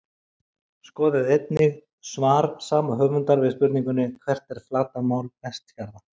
Skoðið einnig svar sama höfundar við spurningunni Hvert er flatarmál Vestfjarða?